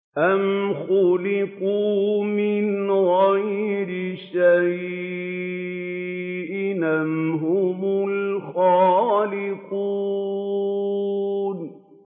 أَمْ خُلِقُوا مِنْ غَيْرِ شَيْءٍ أَمْ هُمُ الْخَالِقُونَ